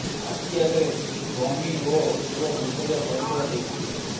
ଆଖି ଆଗରେ ସ୍ୱମୀ ଓ ପୁଅ ମୃତଦେହ ପଡିଥିବା ଦେଖିଥିଲି